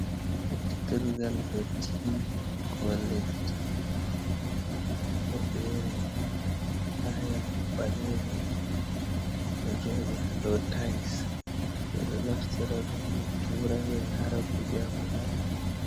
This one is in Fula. Ɓoftirgal dotti ko leddi bodere, taya ɓalere ɗom ɗo joɗi ha dau tais, ɓeɗo naftiradum ɓe tura ɓe yara kuje ha babal.